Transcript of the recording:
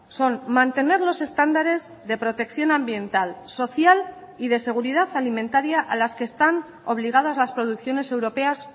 son mantener los estándares de protección ambiental social y de seguridad alimentaria a las que están obligadas las producciones europeas